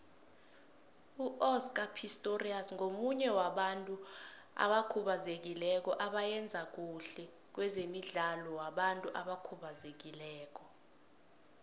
uoscar pistorius ngomunye wabantu abakhubazekileko abayenza khuhle kwezemidlalo wabantu abakhubazekileko